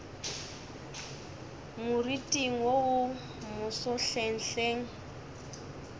moriting wo wo moso hlenghleng